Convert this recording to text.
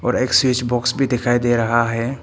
और एक switch box भी दिखाई दे रहा है।